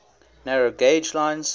narrow gauge lines